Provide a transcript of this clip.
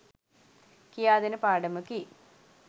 කියා දෙන පාඩමකි.